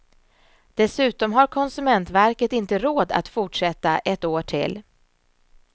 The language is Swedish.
Dessutom har konsumentverket inte råd att fortsätta ett år till.